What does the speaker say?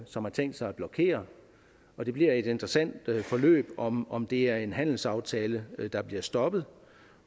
som har tænkt sig at blokere og det bliver et interessant forløb om om det er en handelsaftale der bliver stoppet